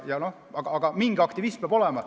Aga mingi aktivism peab olema.